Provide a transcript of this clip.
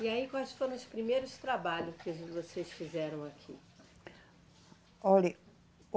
E aí, quais foram os primeiros trabalhos que vocês fizeram aqui? Olhe